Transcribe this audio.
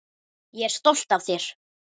Ég er stolt af þér.